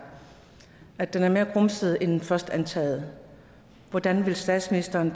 at den er mere grumset end først antaget hvordan vil statsministeren